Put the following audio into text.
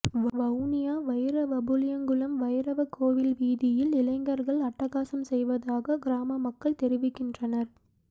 வவுனியா வைரவபுளியங்குளம் வைரவ கோயில் வீதியில் இளைஞர்கள் அட்டகாசம் செய்வதாக கிராம மக்கள் தெரிவிக்கின்றனர்